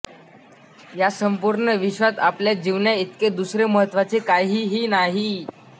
या संपूर्ण विश्वात आपल्या जीवनाइतके दुसरे महत्त्वाचे काहीही नाही